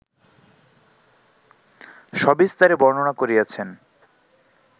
সবিস্তারে বর্ণন করিয়াছেন